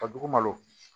Ka dugu malo